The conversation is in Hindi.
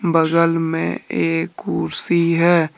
बगल में एक कुर्सी है।